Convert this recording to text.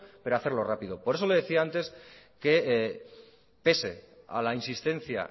pero hacerlo rápido por eso le decía antes que pese a la insistencia